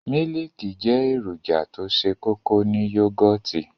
Mílìkì jẹ́ èròjà tó se kókó ní yógòtì.